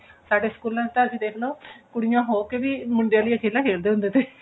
ਸਾਡੇ ਸਕੂਲਾਂ ਚ ਤਾਂ ਅਸੀਂ ਦੇਖਲੋ ਕੁੜੀਆਂ ਹੋਕੇ ਵੀ ਮੁੰਡੇ ਆਲਿਆਂ ਖੇਡਾਂ ਖੇਡ ਦੇ ਸੀਗੇ